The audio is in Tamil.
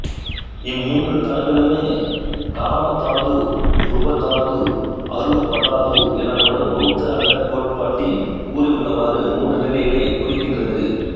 இம் மூன்று தளங்களும் காமதாது ரூபதாது அரூபதாது எனப்படும் பௌத்த அண்டக் கோட்பாட்டில் கூறியுள்ளவாறு மூன்று நிலைகளைக் குறிக்கின்றது